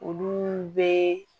Olu bɛ